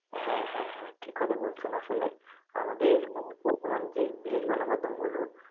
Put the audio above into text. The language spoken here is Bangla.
হ্যাঁ হ্যাঁ হ্যাঁ ঠিক কথা বলছেন আসলে আমাদের বর্তমান যে বিশেষ গণমাধ্যম গুলো